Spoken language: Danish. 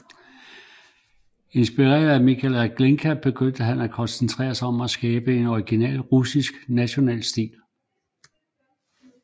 Inspireret af Mikhail Glinka begyndte han at koncentrere sig om at skabe en original russisk national stil